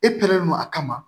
E pɛrɛndɔ a kama